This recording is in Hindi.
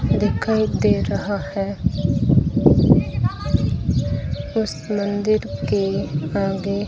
दिखाई दे रहा है उस मंदिर के आगे--